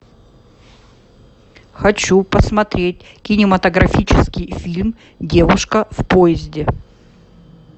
хочу посмотреть кинематографический фильм девушка в поезде